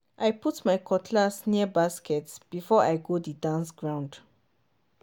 i put my cutlass near basket before i go di dance ground.